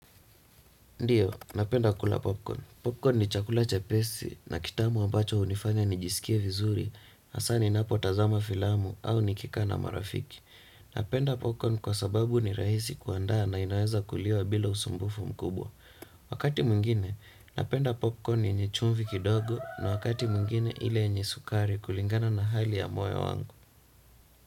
Ndiyo, napenda kula popcorn. Popcorn ni chakula chepesi na kitamu ambacho hunifanya nijisikie vizuri hasa ninapotazama filamu au nikikaa na marafiki. Napenda popcorn kwa sababu ni rahisi kuandaa na inaweza kuliwa bila usumbufu mkubwa. Wakati mwingine, napenda popcorn yenye chumvi kidogo na wakati mwingine ile yenye sukari kulingana na hali ya moyo wangu.